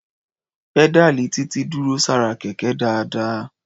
Pẹ́dáàlì Títí dúró sára Kẹ̀kẹ́ dáadáa.